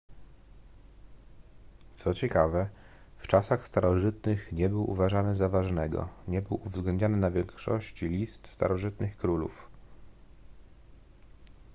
co ciekawe w czasach starożytnych nie był uważany za ważnego nie był uwzględniany na większości list starożytnych królów